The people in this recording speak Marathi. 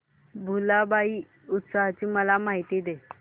भुलाबाई उत्सवाची मला माहिती दे